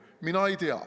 Mina ei tea.